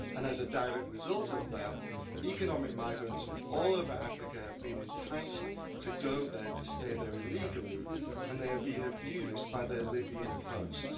And as a direct result of that, economic migrants from all over Africa have been enticed to go there and to stay there illegally, and they have been abused by their Libyan hosts.